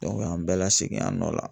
o y'an bɛɛ la segin an nɔ la .